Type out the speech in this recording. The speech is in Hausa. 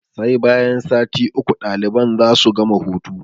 Sai bayan sati uku daliban za su gama hutu.